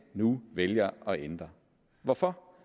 nu vælger at ændre hvorfor